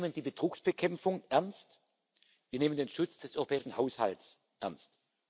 Wir nehmen die Betrugsbekämpfung ernst, wir nehmen den Schutz des europäischen Haushalts ernst.